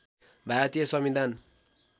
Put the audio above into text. भारतीय संविधान